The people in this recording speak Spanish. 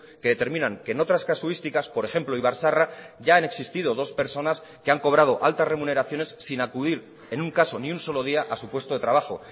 que determinan que en otras casuísticas por ejemplo ibarzaharra ya han existido dos personas que han cobrado altas remuneraciones sin acudir en un caso ni un solo día a su puesto de trabajo